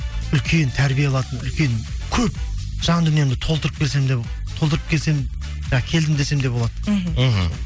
үлкен тәрбие алатын үлкен көп жан дүниемді толытырып келсем де толтырып келсем жаңағы келдім десем де болады мхм